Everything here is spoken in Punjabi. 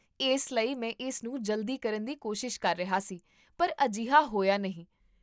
ਇਸ ਲਈ ਮੈਂ ਇਸਨੂੰ ਜਲਦੀ ਕਰਨ ਦੀ ਕੋਸ਼ਿਸ਼ ਕਰ ਰਿਹਾ ਸੀ ਪਰ ਅਜਿਹਾ ਹੋਇਆ ਨਹੀਂ